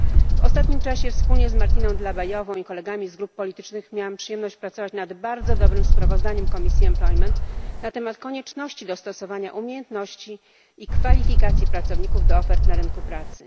W ostatnim czasie wspólnie z Martiną Dlabajovą i kolegami z grup politycznych miałam przyjemność pracować nad bardzo dobrym sprawozdaniem Komisji Zatrudnienia na temat konieczności dostosowania umiejętności i kwalifikacji pracowników do ofert na rynku pracy.